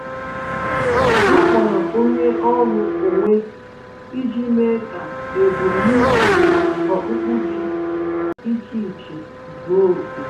Ha kpọrọ onye ọrụ onwe iji mee ka ebum na-uche okpukpe dị iche iche zuo oke